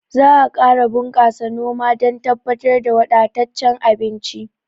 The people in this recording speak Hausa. Za a ƙara bunƙasa noma dan tabbatar da wadattacen abinci